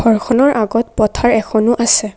ঘৰখনৰ আগত পথাৰ এখনো আছে।